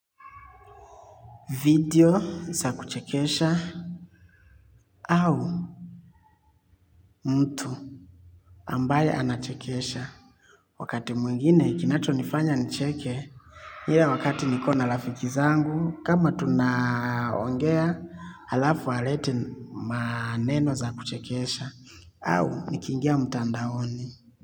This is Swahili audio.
Video za kuchekesha au mtu ambaye anachekesha. Wakati mwingine kinachonifanya nicheke ile wakati niko na rafiki zangu kama tunaongea alafu alete maneno za kuchekesha au nikiingia mtandaoni.